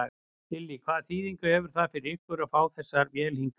Lillý: Hvaða þýðingu hefur það fyrir ykkur að fá þessa vél hingað?